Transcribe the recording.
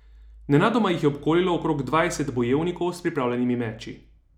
Nenadoma jih je obkolilo okrog dvajset bojevnikov s pripravljenimi meči.